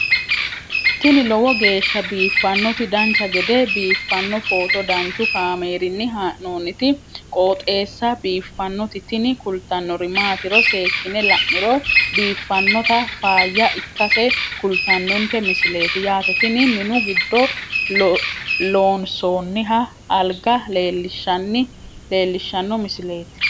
tini lowo geeshsha biiffannoti dancha gede biiffanno footo danchu kaameerinni haa'noonniti qooxeessa biiffannoti tini kultannori maatiro seekkine la'niro biiffannota faayya ikkase kultannoke misileeti yaate tini minu giddo lloonsoonniha alga leellishshanno misileeti